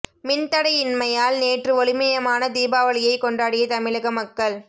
மின் தடை இன்மையால் நேற்று ஒளிமயமான தீபாவளியை கொண்டாடிய தமிழக மக்கள்